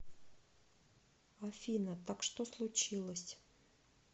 афина так что случилось